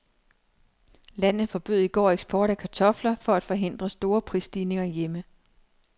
Landet forbød i går eksport af kartofler for at forhindre store prisstigninger hjemme.